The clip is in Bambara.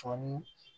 Fɔɔni